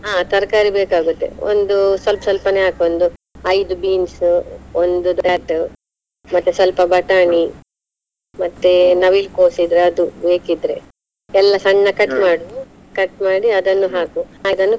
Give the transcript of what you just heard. ಅಹ್ ತರ್ಕಾರಿ ಬೇಕಾಗುತ್ತೆ ಒಂದು ಸ್ವಲ್ಪ ಸ್ವಲ್ಪನೇ ಹಾಕ್ ಒಂದು ಐದು beans , ಒಂದು , ಮತ್ತೆ ಸ್ವಲ್ಪ ಬಟಾಣಿ ಮತ್ತೆ ನವಿಲು ಕೋಸಿದ್ರೆ ಅದು ಬೇಕಿದ್ರೆ, ಎಲ್ಲಾ ಸಣ್ಣ cut ಮಾಡಿ ಅದನ್ನು ಹಾಕು ಅದನ್ನು.